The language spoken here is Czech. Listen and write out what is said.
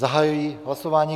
Zahajuji hlasování.